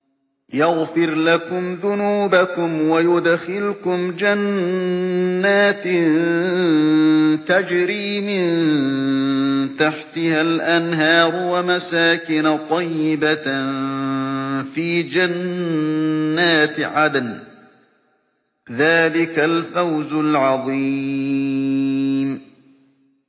يَغْفِرْ لَكُمْ ذُنُوبَكُمْ وَيُدْخِلْكُمْ جَنَّاتٍ تَجْرِي مِن تَحْتِهَا الْأَنْهَارُ وَمَسَاكِنَ طَيِّبَةً فِي جَنَّاتِ عَدْنٍ ۚ ذَٰلِكَ الْفَوْزُ الْعَظِيمُ